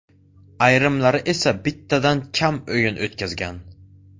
Ayrimlari esa bittadan kam o‘yin o‘tkazgan.